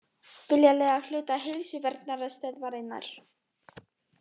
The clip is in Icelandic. Vilja leigja hluta Heilsuverndarstöðvarinnar